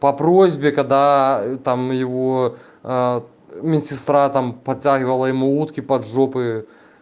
по просьбе когда там его медсестра там подтягивала ему утки под жопы